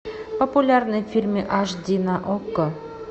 популярные фильмы аш ди на окко